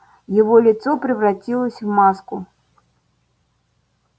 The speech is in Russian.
его лицо превратилось в маску